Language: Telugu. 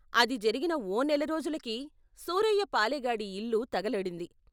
అది జరిగిన ఓ నెల రోజులకి సూరయ్య పాలెగాడి ఇల్లు తగలడింది.